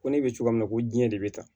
Ko ne bɛ cogoya min na ko diɲɛ de bɛ taa